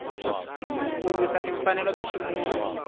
ku lwisa timfanelo ta ximunhu